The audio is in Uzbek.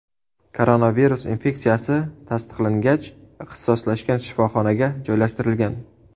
Koronavirus infeksiyasi tasdiqlangach, ixtisoslashgan shifoxonaga joylashtirilgan.